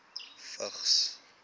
vigs